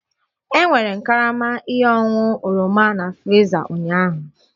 E nwere karama ihe ọṅụṅụ oroma na friza ụnyaahụ